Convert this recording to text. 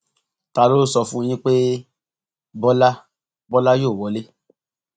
ta ló sọ fún yín pé bọlá bọlá yóò wọlé